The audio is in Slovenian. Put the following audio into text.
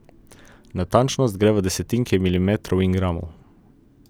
Natančnost gre v desetinke milimetrov in gramov.